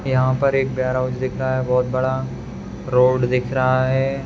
यहाँ पर एक वेयरहाउस दिख रहा है बहोत बड़ा रोड दिख रहा है।